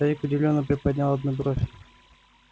старик удивлённо приподнял одну бровь